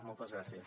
moltes gràcies